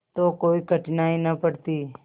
तो कोई कठिनाई न पड़ती